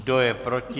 Kdo je proti?